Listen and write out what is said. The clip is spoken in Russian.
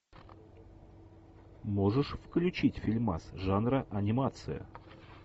можешь включить фильмас жанра анимация